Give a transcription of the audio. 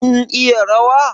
Kin iya rawa?